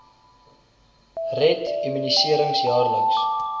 red immunisering jaarliks